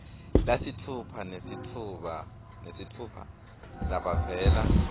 lasitfupha nesitfupha labavela